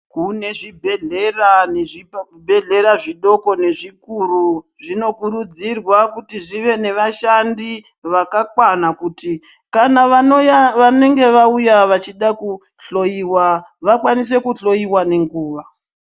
Kune zvibhedhlera nezvibhedhlera zvidoko nezvikuru zvinokurudzirwa kuti zvive nevashandi vakakwana kuti kana vanenge vauya vachida kuhloyiwa vakwanise kuhloyiwe nenguva .